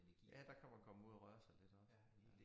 Ja der kan man komme ud at røre sig lidt også ja